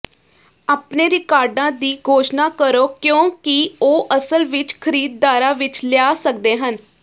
ਆਪਣੇ ਰਿਕਾਰਡਾਂ ਦੀ ਘੋਸ਼ਣਾ ਕਰੋ ਕਿਉਂਕਿ ਉਹ ਅਸਲ ਵਿੱਚ ਖਰੀਦਦਾਰਾਂ ਵਿੱਚ ਲਿਆ ਸਕਦੇ ਹਨ